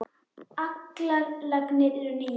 Allar lagnir eru nýjar.